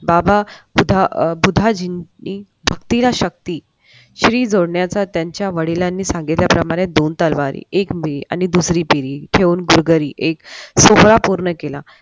बाबा बुधाजींनी भक्तीला शक्ती श्री जोडला तर त्यांच्या वडिलांना चांगल्या प्रमाणे दोन तलवारी एक मे एक सोहळा पूर्ण केला.